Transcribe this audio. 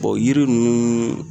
Bɔn yiri ninnu